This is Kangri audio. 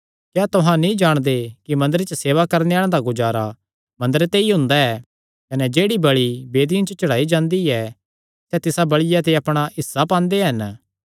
क्या तुहां नीं जाणदे कि मंदरे च सेवा करणे आल़ेआं दा गुजारा मंदरे ते ई हुंदा ऐ कने जेह्ड़ी बल़ि वेदिया च चढ़ाई जांदी ऐ सैह़ तिसा बल़िया ते अपणा हिस्सा पांदे हन